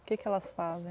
O que que elas fazem?